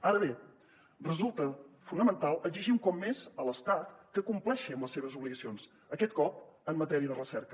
ara bé resulta fonamental exigir un cop més a l’estat que compleixi amb les seves obligacions aquest cop en matèria de recerca